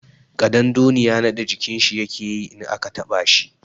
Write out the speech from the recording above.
Ƙadandoniya naɗe jikin shi yake yi in aka taɓa shi.